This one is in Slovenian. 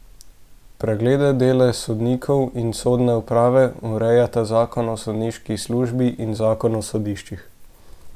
Preglede dela sodnikov in sodne uprave urejata zakon o sodniški službi in zakon o sodiščih.